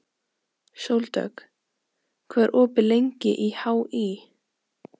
Sóldögg, hvað er opið lengi í HÍ?